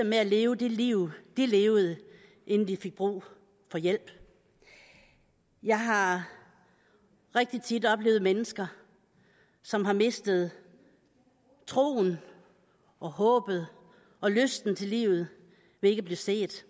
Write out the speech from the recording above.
med at leve det liv de levede inden de fik brug for hjælp jeg har rigtig tit oplevet mennesker som har mistet troen og håbet og lysten til livet ved ikke at blive set